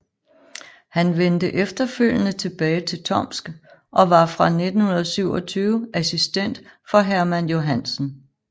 Han vendte efterfølgende tilbage til Tomsk og var fra 1927 assistent for Hermann Johansen